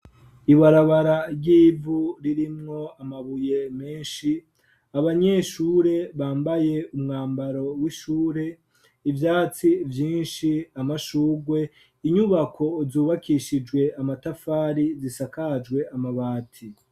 Ibarabara ry'ivu ririmwo amabuye meshi abanyeshure bambaye umwambaro w'ishure ivyatsi vyinshi amashugwe inyubako zubakishijwe amatafari zisakajwe amabati.